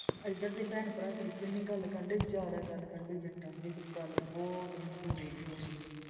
ਇੱਧਰ ਦੇ ਭੈਣ ਭਰਾ ਜ਼ਿਆਦਾ ਗੱਲ ਕਰਨ ਡਾਏ ਜ਼ਿਆਦਾ ਗੱਲ ਕਰਨ ਗੱਲ ਬਹੁਤ ਮਸ਼ਹੂਰ ਹੋ ਗਈ